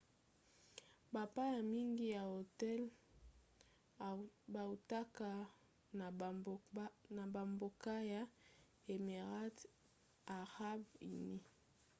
bapaya mingi ya hotel bautaka na bambokaya émirats arabes unis